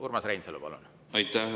Urmas Reinsalu, palun!